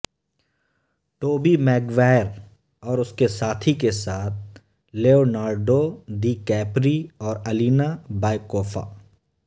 ٹوبی Maguire اور اس کے ساتھی کے ساتھ لیونارڈو دی کیپری اور الینا بایکوفا